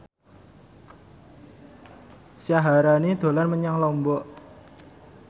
Syaharani dolan menyang Lombok